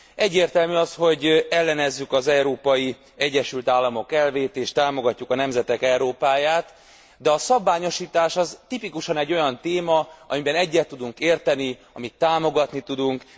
Egyértelmű az, hogy ellenezzük az Európai Egyesült Államok elvét és támogatjuk a nemzetek Európáját, de a szabványosítás az tipikusan egy olyan téma, amiben egyet tudunk érteni, amit támogatni tudunk.